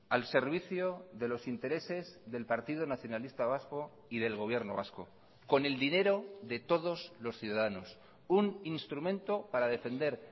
al servicio de los intereses del partido nacionalista vasco y del gobierno vasco con el dinero de todos los ciudadanos un instrumento para defender